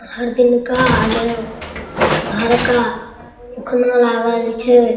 हर दिन का आना हरका लागल छे |